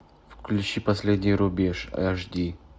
включи последний рубеж аш ди